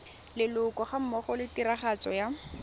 leloko gammogo le tiragatso ya